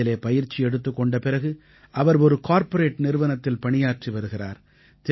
இதிலே பயிற்சி எடுத்துக் கொண்ட பிறகு அவர் ஒரு கார்ப்பரேட் நிறுவனத்தில் பணியாற்றி வருகிறார்